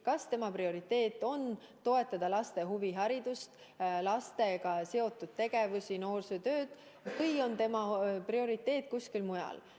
Kas tema prioriteet on toetada laste huviharidust, lastega seotud tegevusi ja noorsootööd või on tema prioriteet kuskil mujal.